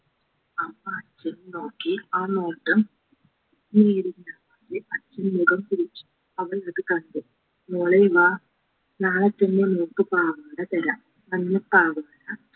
അമ്മ അച്ഛനെ നോക്കി ആ നോട്ടം അച്ഛൻ മുഖം തിരിച്ചു അവൾ അത് കണ്ടു മോളെ വാ നാളെ തന്നെ മോൾക്ക് പാവാട തരാം മഞ്ഞ പാവാട